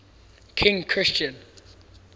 king christian